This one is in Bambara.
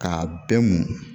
K'a bɛɛ mu